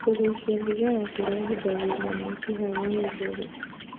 Kugucia thigara kurehithagirĩa mĩkiha ya gĩthũri